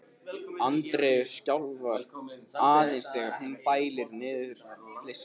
Andreu skjálfa aðeins þegar hún bælir niður flissið.